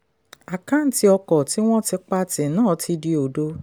àkáǹtì ọkọ̀ tí wọ́n ti pa tì náà ti di òdo.